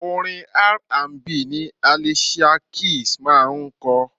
Orin R&B ni Alicia Keys máa ń kọ.